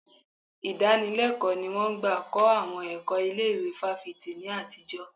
Ìdánilẹ́kọ̀ọ́ ni wọn ń gbà kọ́ àwọn ẹ̀kọ́ ilé ìwé fáfitì ní àtijọ́.